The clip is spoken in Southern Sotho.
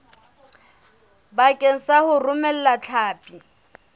bakeng sa ho romela hlapi